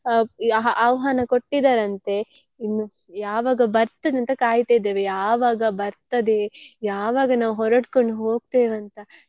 ಅ ಯ~ ಆಹ್ವಾನ ಕೊಟ್ಟಿದರಂತೆ ಇನ್ನು ಯಾವಾಗ ಬರ್ತದೆಂತ ಕಾಯ್ತಿದ್ದೇವೆ ಯಾವಾಗ ಬರ್ತದೆ ಯಾವಾಗ ನಾವು ಹೊರಡ್ಕೊಂಡು ಹೋಗ್ತೆವಂತ.